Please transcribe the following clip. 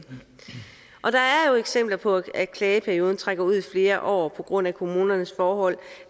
eksempler på at klageperioden trækker ud i flere år på grund af kommunernes forhold